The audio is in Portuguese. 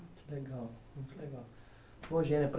Que legal, muito legal.